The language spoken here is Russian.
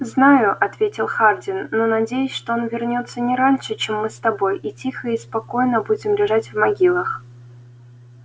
знаю ответил хардин но надеюсь что он вернётся не раньше чем мы с тобой и тихо и спокойно будем лежать в могилах